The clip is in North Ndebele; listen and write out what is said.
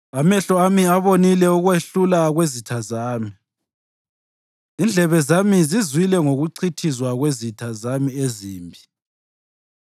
Amehlo ami abonile ukwehlulwa kwezitha zami; indlebe zami zizwile ngokuchithizwa kwezitha zami ezimbi.